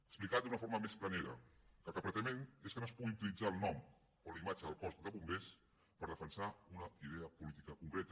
explicat d’una forma més planera el que pretenem és que no es pugui utilitzar el nom o la imatge del cos de bombers per defensar una idea política concreta